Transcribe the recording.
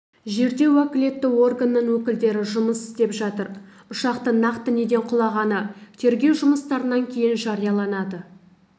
жерде уәкілетті органның өкілдері жұмыс істеп жатыр ұшақтың нақты неден құлағаны тергеу жұмыстарынан кейін жарияланады